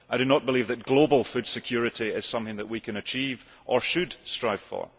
I do not believe that global food security is something that we can achieve or should strive for.